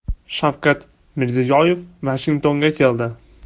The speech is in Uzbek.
Shavkat Mirziyoyev Vashingtonga keldi.